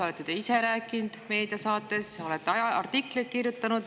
Olete te ise rääkinud meediasaates, olete artikleid kirjutanud.